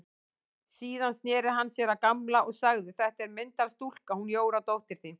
Síðan sneri hann sér að Gamla og sagði: Þetta er myndarstúlka, hún Jóra dóttir þín.